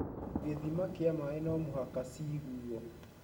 gĩthima kia maĩ no mũhaka cĩĩgũo.